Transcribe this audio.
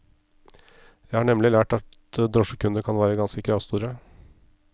Jeg har nemlig lært at drosjekunder kan være ganske kravstore.